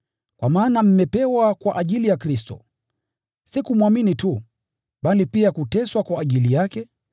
Kwa maana mmepewa kwa ajili ya Kristo, si kumwamini tu, bali pia kuteswa kwa ajili yake,